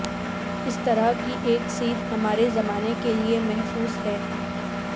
اس طرح کی ایک سیدھ ہمارے زمانے کے لیے محفوظ ہے